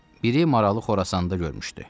Biri Marağalı Xorasanda görmüşdü.